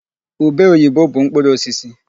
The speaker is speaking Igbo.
Ube oyibo bụ mkpụrụ osisi.